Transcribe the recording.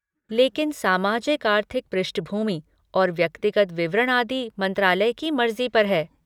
लेकिन सामाजिक आर्थिक पृष्ठभूमि और व्यक्तिगत विवरण आदि मंत्रालय की मर्जी पर है।